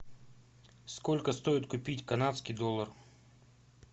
сколько стоит купить канадский доллар